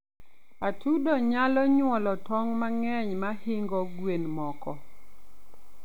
atudo nyalo nyuolo tong mangeny mahingo gwen moko